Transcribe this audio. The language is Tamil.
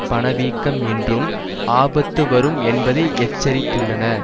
பணவீக்கம் என்றும் ஆபத்து வரும் என்பதை எச்சரித்துள்ளன